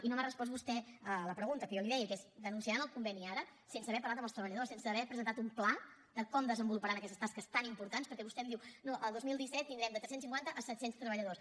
i no m’ha respost vostè a la pregunta que jo li deia que és denunciaran el conveni ara sense haver parlat amb els treballadors sense haver presentat un pla de com desenvoluparan aquestes tasques tan importants perquè vostè em diu no el dos mil disset tindrem de tres cents i cinquanta a set cents treballadors